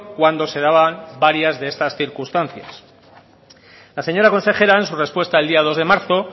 cuando se daban varias de estas circunstancias la señora consejera en su respuesta el día dos de marzo